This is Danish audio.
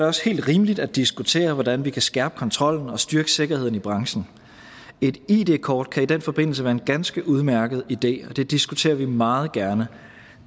også helt rimeligt at diskutere hvordan vi kan skærpe kontrollen og styrke sikkerheden i branchen et id kort kan i den forbindelse være en ganske udmærket idé og det diskuterer vi meget gerne